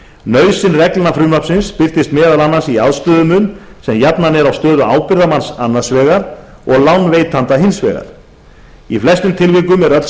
nauðsyn reglna frumvarpsins birtist meðal annars í aðstöðumun sem jafnan er á stöðu ábyrgðarmanns a annars vegar og lánveitenda hins vegar í flestum tilvikum er öll